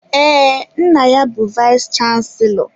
Ee, nna ya bu vayis chansilọ.